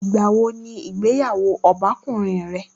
Ìgbà wo ni ìgbéyàwó ọbàkan rẹ lóbìnrin?